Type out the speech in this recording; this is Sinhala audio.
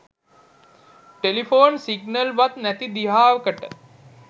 ටෙලිපොන් සිග්නල් වත් නැති දිහාවකට